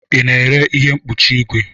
Ị na-ere ihe mkpuchi igwe?